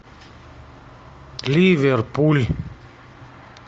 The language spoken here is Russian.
ливерпуль